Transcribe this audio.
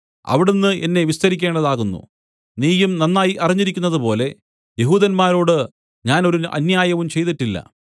അവിടുന്ന് എന്നെ വിസ്തരിക്കേണ്ടതാകുന്നു നീയും നന്നായി അറിഞ്ഞിരിക്കുന്നതുപോലെ യെഹൂദന്മാരോട് ഞാൻ ഒരു അന്യായവും ചെയ്തിട്ടില്ല